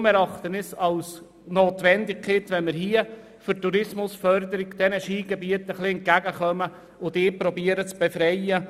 Deshalb erachten wir es als notwendig, diesen Skigebieten als Tourismusförderung etwas entgegenzukommen und sie von dieser Steuer zu befreien.